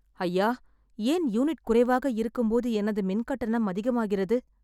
ஐயா ஏன் யூனிட் குறைவாக இருக்கும்போது எனது மின்கட்டணம் அதிகமாகிறது